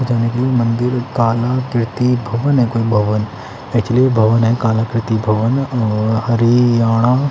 कोई भवन एक्चुअली वो भवन है काला कृति भवन और हरियाणा --